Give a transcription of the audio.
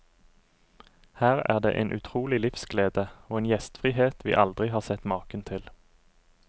Her er det en utrolig livsglede, og en gjestfrihet vi aldri har sett maken til.